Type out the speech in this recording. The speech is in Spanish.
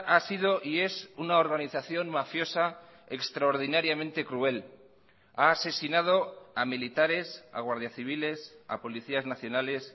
ha sido y es una organización mafiosa extraordinariamente cruel ha asesinado a militares a guardias civiles a policías nacionales